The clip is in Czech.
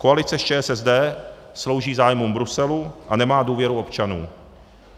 Koalice s ČSSD slouží zájmům Bruselu a nemá důvěru občanů.